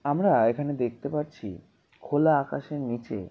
আমরা এখানে দেখতে পাচ্ছি খোলা আকাশের নিচে।